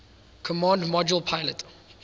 command module pilot